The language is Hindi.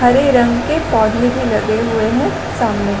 हरे रंग के पौधे भी लगे हुए है सामने--